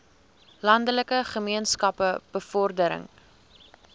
landelike gemeenskappe bevordering